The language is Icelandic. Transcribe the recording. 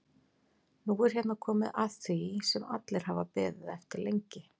Nú er hérna komið að því sem allir hafa beðið eftir lengi.